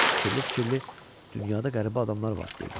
Fikirli-fikirli “dünyada qəribə adamlar var”," dedi.